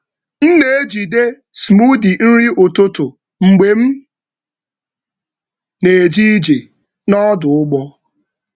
M na-ejide smoothie nri ụtụtụ mgbe m na-eje ije n’ọdụ ụgbọ.